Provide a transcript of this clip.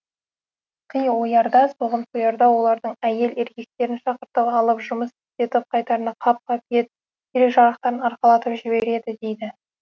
қи оярда соғым соярда олардың әйел еркектерін шақыртып алып жұмыс істетіп қайтарында қап қап ет керек жарақтарын арқалатып жібереді дейді